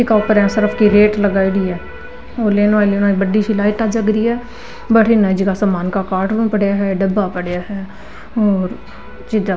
ईका ऊपर यहाँ सरफ की रेट लगाईडी है और बड़ी सी एक लाइटा जग री है भटीन ये जगह समान का कार्टून पड़या है डब्बा पडया है और चीज़ा --